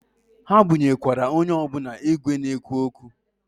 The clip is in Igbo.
Ha bunyekwara onye ọbụna igwe na-ekwu okwu.